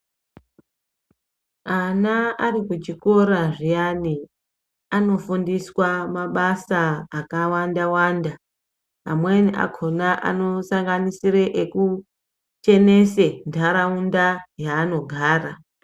Ana arikuchokora zviyani, anofundiswa mabasa akawanda wanda amweni akhona anosanganisire ekuchenese nharaunda yaanogara.